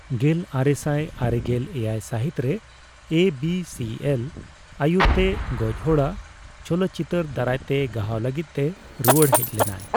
ᱜᱮᱞ ᱟᱨᱮᱥᱟᱭ ᱟᱨᱮᱜᱮᱞ ᱮᱭᱟᱭ ᱥᱟᱦᱤᱛ ᱨᱮ ᱮᱹᱵᱤᱹᱥᱤᱹ ᱮᱞ ᱟᱭᱩᱨᱛᱮ ᱜᱚᱡᱽ ᱦᱚᱲᱟᱜ ᱪᱚᱞᱚᱛ ᱪᱤᱛᱟᱹᱨ ᱫᱟᱨᱟᱭ ᱛᱮ ᱜᱟᱦᱟᱣ ᱞᱟᱹᱜᱤᱫ ᱛᱮ ᱨᱩᱣᱟᱹᱲ ᱦᱮᱡ ᱞᱮᱱᱟᱭ ᱾